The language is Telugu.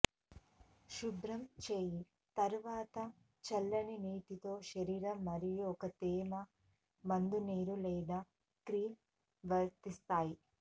శుభ్రం చేయు తరువాత చల్లని నీటితో శరీరం మరియు ఒక తేమ మందునీరు లేదా క్రీమ్ వర్తిస్తాయి